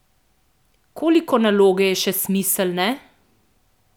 Koliko naloge je še smiselne?